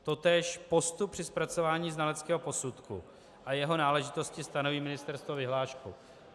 Totéž postup při zpracování znaleckého posudky a jeho náležitosti stanoví ministerstvo vyhláškou.